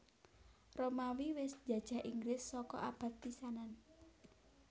Romawi wis njajah Inggris saka abad pisanan